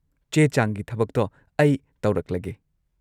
ꯆꯦ-ꯆꯥꯡꯒꯤ ꯊꯕꯛꯇꯣ ꯑꯩ ꯇꯧꯔꯛꯂꯒꯦ꯫